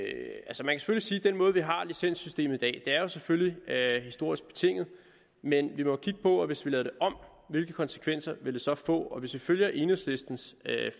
den måde vi har licenssystemet på i dag selvfølgelig er er historisk betinget men vi må jo kigge på hvis vi lavede det om hvilke konsekvenser det så ville få hvis vi følger enhedslistens